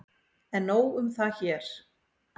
En nóg um það hér.